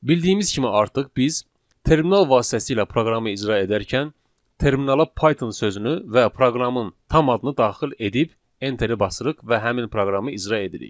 Bildiyimiz kimi artıq biz terminal vasitəsilə proqramı icra edərkən terminala Python sözünü və proqramın tam adını daxil edib Enter-i basırıq və həmin proqramı icra edirik.